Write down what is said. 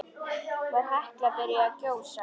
Var Hekla byrjuð að gjósa?